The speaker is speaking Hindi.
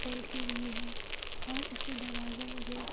पेंट की गई है और इसका दरवाजा मुझे --